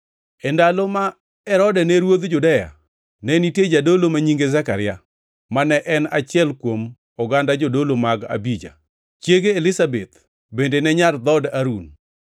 E ndalo ma Herode ne ruodh Judea, ne nitie jadolo ma nyinge Zekaria, ma ne en achiel kuom oganda jodolo mag Abija; chiege Elizabeth bende ne nyar dhood Harun.